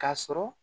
K'a sɔrɔ